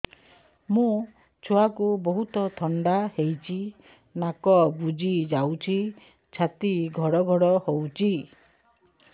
ମୋ ଛୁଆକୁ ବହୁତ ଥଣ୍ଡା ହେଇଚି ନାକ ବୁଜି ଯାଉଛି ଛାତି ଘଡ ଘଡ ହଉଚି